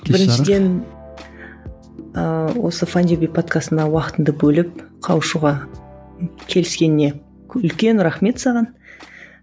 біріншіден ыыы осы файндюби подкастына уақытыңды бөліп қауышуға келіскеніңе үлкен рахмет саған